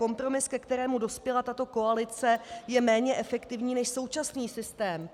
Kompromis, ke kterému dospěla tato koalice, je méně efektivní než současný systém.